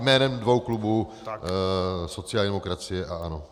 Jménem dvou klubů - sociální demokracie a ANO.